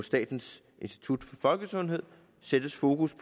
statens institut for folkesundhed sættes fokus